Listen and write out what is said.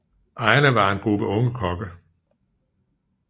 Ejerne var en gruppe unge kokke